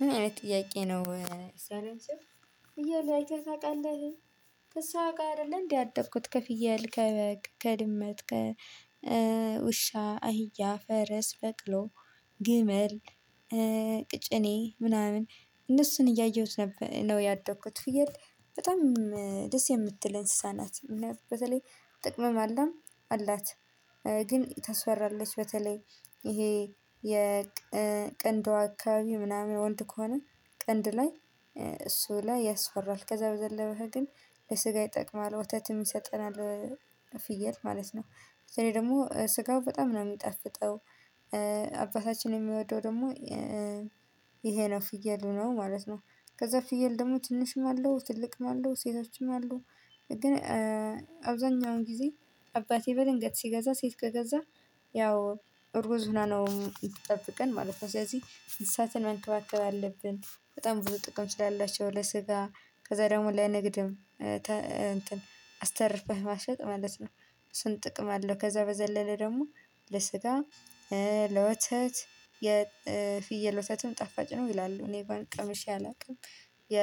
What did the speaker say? ምን አይነት ጥያቄ ነው? ፍየል አይተህ ታውቃለህ? አውቃለሁ አይደለም እንዴ ያደኩት ከፍየል ከበግ ከድመት ከውሻ አህያ ፈረስ በቅሎ ግመል። ቅጭኔ ምናምን እነሱን እያየሁት ነበር ነው ያደኩት ፍየል በጣም ደስ የምትል እንስሳ ናት። በተለይ ጥቅምም አላምም አላት። ግን ታስፈራለች በተለይ ይሄ የቀንዷ አካባቢ ወንድ ከሆነ ቀንድ ላይ እሱ ላይ ያስፈራል። ከዛ በተረፈ ግን በስጋ ይጠቅማል ወተት የሚሰጠን አለ። ፍየት ማለት ነው ስለዚህ ደግሞ ስጋው በጣም ነው የሚጣፍጠው። አባታችን እሚወደው ደግሞ ይሄ ነው ፍየል ነው ማለት ነው። ከዛ ፍየል ደግሞ ትንሽም አለው ትልቅም አለው ሴቶችም አሉ። ግን አብዛኛውን ጊዜ አባቴ በድንገት ሲገዛ ሴት ከገዛ ያው እርጉዝ ሁና ነው እምትጠብቀን ማለት ነው። ስለዚህ እንሳትን መንከባከብ አለብን በጣም ብዙ ጥቅም ስላላቸው ለስጋ። ከዛ ደግሞ ለንግድም እንትን መሸጥ ማለት ነው። እሱን ጥቅም አለው። ከዛ በዘለለ ደግሞ ለስጋ ለወተት የፍየል ውተትም ጠፋጭ ነው ይላሉ። እኔእንኩአን ቀምሽ አላውቅም የ